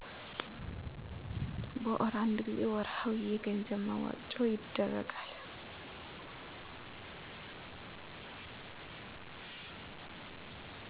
በወር አንድ ጊዜ ወርሀዊ የገንዘብ መዋጮ ይደረጋል